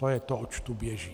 To je to, oč tu běží.